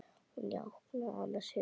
Hann jánkaði annars hugar.